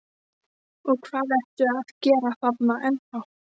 Og hvað ertu að gera þarna ennþá?